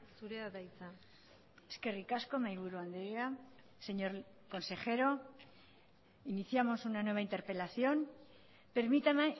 zurea da hitza eskerrik asko mahai buru andrea señor consejero iniciamos una nueva interpelación permítame